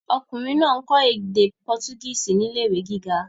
Ọkùnrin náà ń kọ́ èdè pọtugísì ní ilé ìwé gíga.